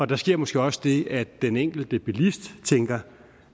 der sker måske også det at den enkelte bilist tænker